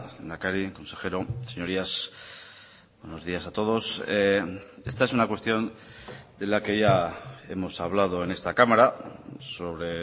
lehendakari consejeros señorías buenos días a todos esta es una cuestión de la que ya hemos hablado en esta cámara sobre